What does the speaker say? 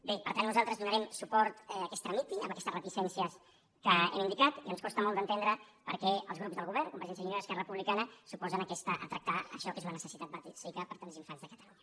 bé per tant nosaltres donarem suport que es tramiti amb aquestes reticències que hem indicat i ens costa molt d’entendre per què els grups del govern convergència i unió i esquerra republicana s’oposen a tractar això que és una necessitat bàsica per a tants infants de catalunya